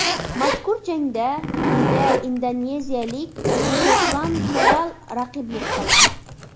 Mazkur jangda unga indoneziyalik Soxlan Koral raqiblik qildi.